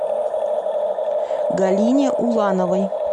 галине улановой